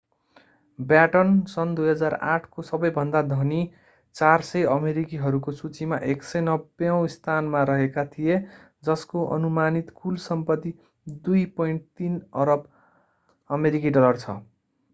baton सन् 2008 को सबैभन्दा धनी 400 अमेरिकीहरूको सूचीमा 190 औँ स्थानमा रहेका थिए जसको अनुमानित कुल सम्पत्ति 2.3 अरब अमेरिकी डलर छ